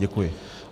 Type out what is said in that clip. Děkuji.